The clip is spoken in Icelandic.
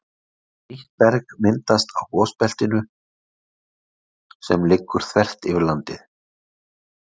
Nýtt berg myndast á gosbeltinu sem liggur þvert yfir landið.